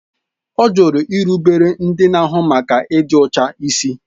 Ọ jụrụ irubere ndị na-ahụ maka ịdị ọcha ịsị